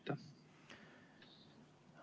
Aitäh!